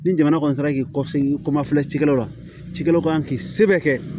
Ni jamana kɔni taara k'i kɔsegi komafilɛ cikɛlaw la cikɛlaw kan k'i sɛbɛn kɛ